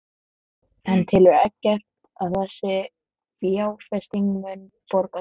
En telur Eggert að þessi fjárfesting muni borga sig?